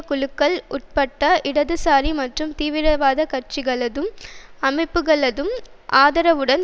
குழுக்கள் உட்பட்ட இடதுசாரி மற்றும் தீவிரவாத கட்சிகளதும் அமைப்புக்களதும் ஆதரவுடன்